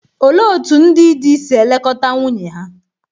Olee otú ndị di si elekọta nwunye ha?